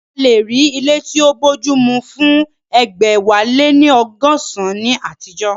A lè rí ilé tí ó bójúmu fún egbẹ̀wáléníọgọsan ní àtijọ́